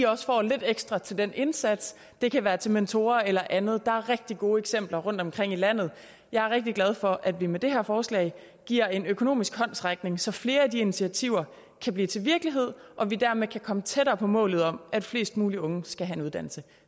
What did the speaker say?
også får lidt ekstra til den indsats det kan være til mentorer eller andet der er rigtig gode eksempler rundtomkring i landet jeg er rigtig glad for at vi med det her forslag giver en økonomisk håndsrækning så flere af de initiativer kan blive til virkelighed og vi dermed kan komme tættere på målet om at flest muligt unge skal have en uddannelse